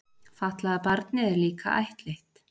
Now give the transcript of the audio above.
Fatlaða barnið er líka ættleitt.